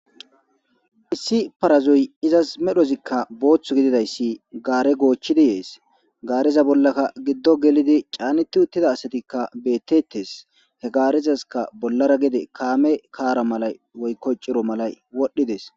Issi parazoyi izas botta gidida issi gaare goochidi dees. Gaareza bollakka giddon gelidi caanet i utida asika beetettes. He gaarezasikka bollara gedi kaame, kaara malayi woyko ciro malayi wodhdhi dees.